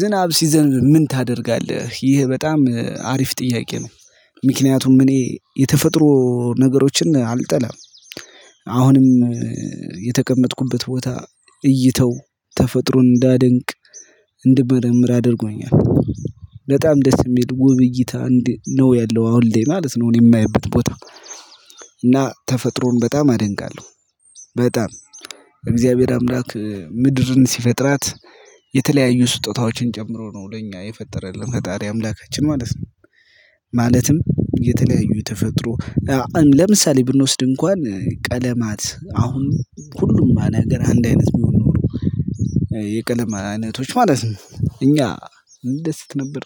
ዝናብ ሲዘንብ ምን ታደርጋለህ ይሄ በጣም አሪፍ ጥያቄ ነው? ምክንያቱም እኔ የተፈጥሮ ነገሮችን አልጠላም። አሁንም የተቀመጥኩበት ቦታ እይታው ተፈጥሮን እንዳደንቅ እንድመረምር አድርጎኛል። በጣም ደስ እሚል ውብ እይታ ነው ያለው አሁን ላይ ማለት ነው እኔ የማይበት ቦታ። እና ተፈጥሮን በጣም አደንቃለሁ። በጣም እግዚአብሔር አምላክ ምድርን ሲፈጥራት የተለያዩ ስጦታዎችን ጨምሮ ነው ለኛ የፈጠረልን ፈጣሪ አምላካችን ማለት ነው። ማለትም የተለያዩ ተፈጥሮ ለምሳሌ ብንወስድ እንኳን ቀለማት አሁን ሁሉም ነገር አንድ አይነት ቢሆን ኖሮ። የቀለም አይነቶች ማለት ነው እኛ እንደስት ነበር።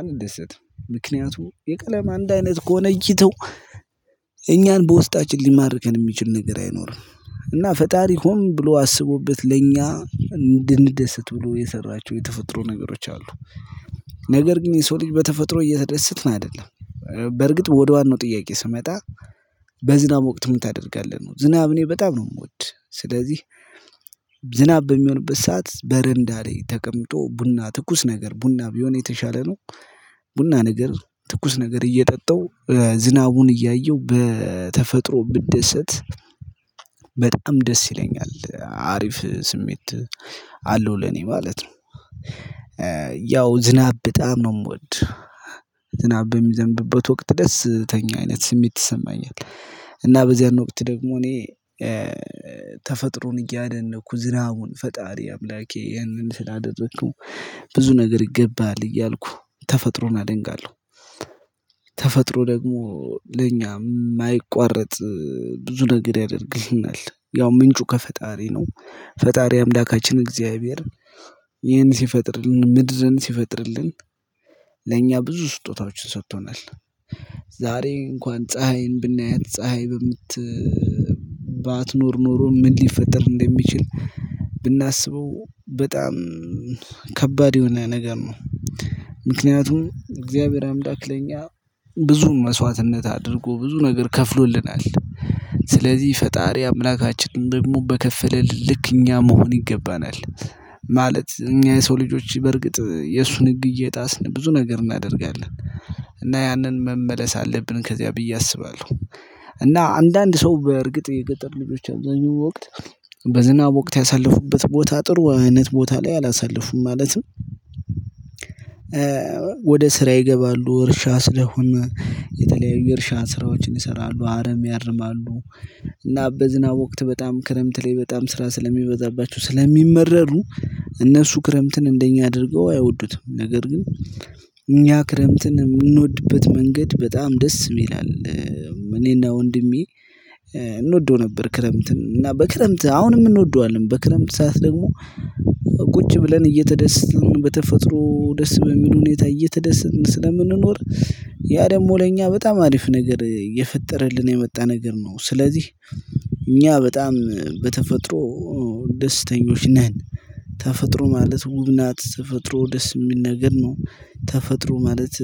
አንደስትም ምክንያቱም የቀለም አንድ አይነት ከሆነ እይታው እኛን በውስጣችን ሊማርከን እሚችል ነገር አይኖርም። እና ፈጣሪ ሆን ብሎ አስቦበት ለእኛ እንድንደሰት ብሎ የሰራቸው የተፈጥሮ ነገሮች አሉ። ነገር ግን የሰው ልጅ በተፈጥሮ እየተደሰትን አይደለም። በርግጥ ወደዋናው ጥያቄ ስመጣ። በዝናብ ወቅት ምን ታደርጋለህ ነው ዝናብ እኔ በጣም ነው እምወድ ስለዚህ። ዝናብ በሚሆንበት ሰዓት በረንዳ ላይ ተቀምጦ ቡና ትኩስ ነገር ቡና ቢሆን የተሻለ ነው። ቡና ነገር ትኩስ ነገር እየጠጣው ዝናቡን እያየው በተፈጥሮ ብደሰት። ደስ ይለኛል አሪፍ ስሜት አለው ለኔ ማለት ነው። ያው ዝናብ በጣም ነው እምወድ። ዝናብ በሚዘንብበት ወቅት ደስተኛ አይነት ስሜት ይሰማኛል። እና በዚያን ወቅት ደግሞ እኔ ተፈጥሮን እያደነኩ ዝናቡን ፈጣሪ አምላኬ ይህንን ስላደረከው ብዙ ነገር ይገባሀል እያልኩ ተፈጥሮን አደንቃለሁ። ተፈጥሮ ደግሞ ለኛ እማይቋረጥ ብዙ ነገር ያደርግልናል ያው ምንጩ ከፈጣሪ ነው። ፈጣሪ አምላካችን እግዚአብሔር ይህን ሲፈጥርልን ምድርን ሲፈጥርልን ለኛ ብዙ ስጦታዎችን ሰጥቶናል። ዛሬ እንኳን ፀሀይን ብናያት ፀሀይ በምት ባትኖር ኖሮ ምን ሊፈጠር እንደሚችል? በጣም ከባድ የሆነ ነገር ነው። ምክንያቱም እግዚአብሔር አምላክ ለእኛ ብዙ መስዋዕትነት አድርጎ ብዙ ነገር ከፍሎልናል። ስለዚህ ፈጣሪ አምላካችንን ደግሞ በከፈለልን ልክ እኛ መሆን ይገባናል። ማለት እኛ የሰው ልጆች በርግጥ የእሱን ህግ እየጣስን ብዙ ነገር እናደርጋለን። እና ያንን መመለስ አለብን ከዚያ ብዬ አስባለሁ። እና አንዳንድ ሰው በእርግጥ የገጠር ልጆች አብዛኛው ወቅት በዝናብ ወቅት ያሳለፉበት ቦታ ጥሩ አይነት ቦታ ላይ አላሳለፉም ማለትም። ወደ ስራ ይገባሉ እርሻ ስለሆነ የተለያዩ የእርሻ ስራዎችን ይሰራሉ አረም ያርማሉ። እና በዝናብ ወቅት በጣም ክረምት ላይ በጣም ስራ ስለሚበዛባቸው ስለሚመረሩ። እነሱ ክረምትን እንደኛ አድርገው አይወዱትም ነገር ግን እኛ ክረምትን እምንወድበት መንገድ በጣም ደስ ይላል። ወንድሜ እንወደው ነበር ክረምትን እና በክረምት አሁንም እንወደዋለን በክረምት ሰዓት ደግሞ ቁጭ ብለን እየተደሰትንን በተፈጥሮ ደስ በሚል ሁኔታ እየተደሰትንን ስለምንኖር። ያ ደግሞ ለእኛ በጣም አሪፍ ነገር እየፈጠረልን የመጣ ነገር ነው ስለዚህ። እኛ በጣም በተፈጥሮ ደስተኞች ነን። ተፈጥሮ ማለት ውብ ናት ተፈጥሮ ደስ እሚል ነገር ነው። ተፈጥሮ ማለት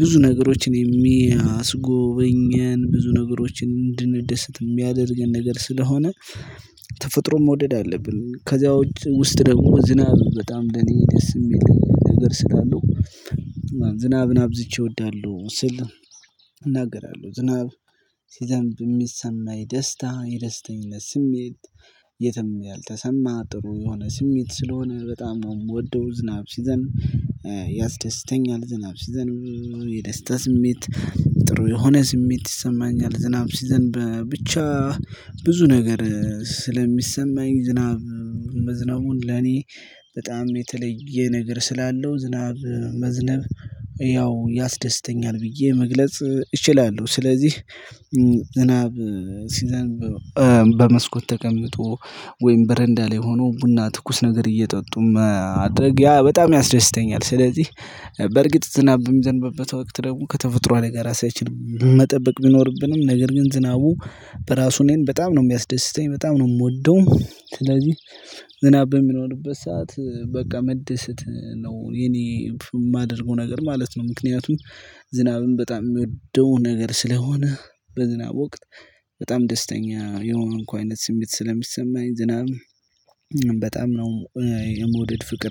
ብዙ ነገሮችን የሚያስጎበኘን ብዙ ነገሮችን እንድንደሰት እሚያደርገን ነገር ስለሆነ። ተፈጥሮ መውደድ አለብን ከዚያ ውስጥ ደግሞ ዝናብ በጣም ለእኔ ደስ እሚል ነገር ስላለው። ዝናብን አብዝቼ እወዳለሁ ስል። እናገራለሁ ዝናብ ሲዘንብ እሚሰማኝ ደስታ የደስተኝነት ስሜት። የትም ያልተሰማ ጥሩ የሆነ ስሜት ስለሆነ በጣም ነው የምወደው። ዝናብ ሲዘን ያስደስተኛል። ዝናብ ሲዘንብ የደስታ ስሜት ጥሩ የሆነ ስሜት ይሰማኛል። ዝናብ ሲዘንብ ብቻ። ብዙ ነገር ስለሚሰማኝ ዝናብ መዝነቡን ለኔ በጣም የተለየ ነገር ስላለው ዝናብ መዝነብ። ያው ያስደስተኛል ብዬ መግለጽ እችላለሁ ስለዚህ። ዝናብ ሲዘንብ በመስኮት ተቀምጦ ወይም በረንዳ ላይ ሆኖ ቡና ትኩስ ነገር እየጠጡ ማድረግ ያ በጣም ያስደስተኛል። ስለዚህ። በርግጥ ዝናብ በሚዘንብበት ወቅት ደግሞ ከተፈጥሮ አደጋ ራሳችን መጠበቅ ቢኖርብንም ነገር ግን ዝናቡ በራሱ እኔን በጣም ነው እሚያስደስተኝ በጣም ነው እምወደው ስለዚህ። ዝናብ በሚኖርበት ሰዓት በቃ መደሰት ነው የኔ እማደርገው ነገር ማለት ነው። ምክንያቱም ዝናብን በጣም እምወደው ነገር ስለሆነ። በዝናብ ወቅት በጣም ደስተኛ የሆንኩ አይነት ስሜት ስለሚሰማኝ ዝናብ በጣም ነው የመውደድ ፍቅር